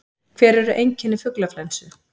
Hver eru einkenni fuglaflensu?